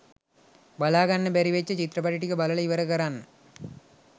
බලාගන්න බැරි වෙච්ච චිත්‍රපටි ටික බලලා ඉවර කරන්න.